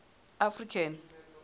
african